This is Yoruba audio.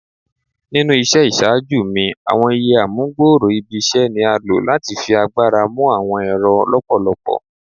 Ninu iṣẹ iṣaaju mi ​​awọn iÿë amugbooro ibi iṣẹ ni a lo lati fi agbara mu awọn ẹrọ lọpọlọpọ